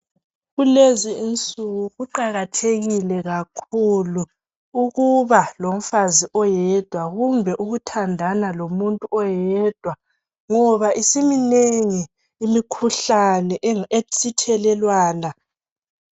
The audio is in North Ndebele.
Kulezi insuku kuqakathekile kakhulu ukuba lomfazi oyedwa kumbe ukuthandana lomuntu oyedwa ngoba isiminengi imikhuhlane esithelelwana